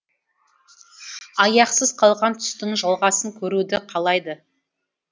аяқсыз қалған түстің жалғасын көруді қалайды